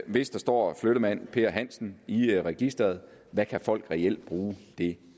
hvis der står flyttemand per hansen i registeret hvad kan folk så reelt bruge det